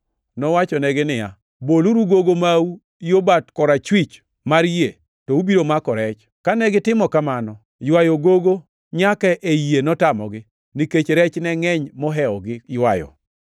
Nowachonegi niya, “Boluru gogo mau yo bat korachwich mar yie, to ubiro mako rech.” Kane gitimo kamano, ywayo gogo nyaka ei yie notamogi, nikech rech ne ngʼeny mohewogi ywayo.